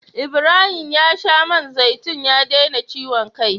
Ibrahim ya sha man zaitun ya daina ciwon kai.